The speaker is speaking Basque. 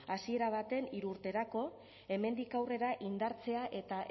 hasiera batean hiru urterako hemendik aurrera indartzea eta